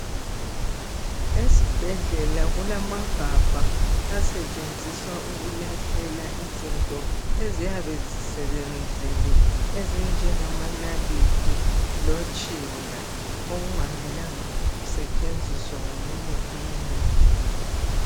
Esibhedlela kulamagabha asetshenziswa ukulahlela izinto eziyabe zisebenzile ezinjengamanalithi lotshinda okungamelanga kusetshenziswe ngomunye umuntu